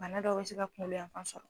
Bana dɔw bɛ se ka kunkolo yan fan sɔrɔ